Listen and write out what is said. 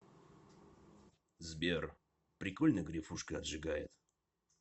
сбер прикольно грефушка отжигает